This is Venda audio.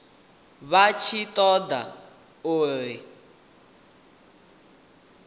vha tshi ṱo ḓa uri